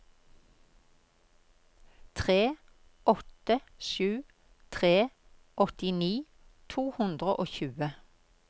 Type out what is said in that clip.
tre åtte sju tre åttini to hundre og tjue